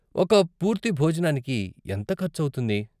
ఒక పూర్తి భోజనానికి ఎంత ఖర్చు అవుతుంది?